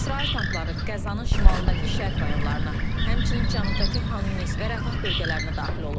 İsrail tankları Qəzzanın şimalındakı şərq rayonlarına, həmçinin cənubdakı Xan Yunis və Rəfah bölgələrinə daxil olub.